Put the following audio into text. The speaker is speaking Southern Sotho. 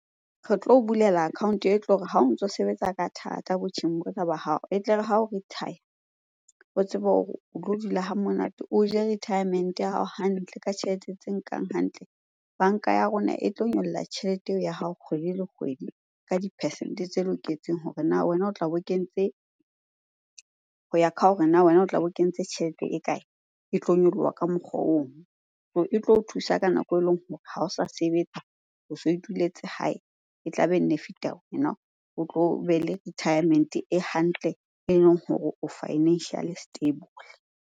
Re tlo o bulela account-o e tlo re ha o ntso sebetsa ka thata botjheng bona ba hao e tle re ha o retire, o tsebe hore o tlo dula ha monate o je retirement ya hao hantle, ka tjhelete tse nkang hantle. Banka ya rona e tlo nyolla tjhelete eo ya hao kgwedi le kgwedi ka di-percent-e tse loketseng hore na wena o tla bo kentse, ho ya ka hore na wena o tla be o kentse tjhelete e kae? E tlo nyoloha ka mokgwa ono. So e tlo o thusa ka nako eleng hore ha o sa sebetsa, o so ituletse hae. E tla benefit-a o tlo be le retirement e hantle eleng hore o financially stable.